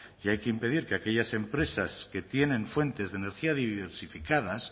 y hay que impedir que aquellas empresas que tienen fuentes de energía diversificadas